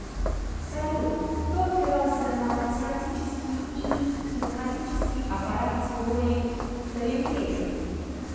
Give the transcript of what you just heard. салют кто опирался на математический и кинематический аппарат теории птолемея